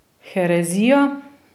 Herezija?